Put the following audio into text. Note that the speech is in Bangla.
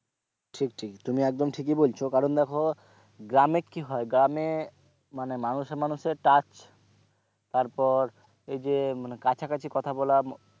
ঠিক ঠিক তুমি একদম ঠিক বলেছো কারণ দেখো গ্রামে কি হয় গ্রামে মানে মানুষে মানুষে touch তারপর এই যে মানে কাছাকাছি কথা বলা,